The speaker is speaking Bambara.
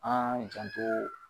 An janto